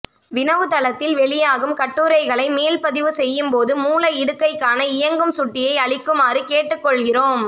வினவு தளத்தில் வெளியாகும் கட்டுரைகளைகளை மீள்பதிப்பு செய்யும் போது மூல இடுகைக்கான இயங்கும் சுட்டியை அளிக்குமாறு கேட்டுக்கொள்கிறோம்